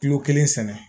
Kilo kelen sɛnɛ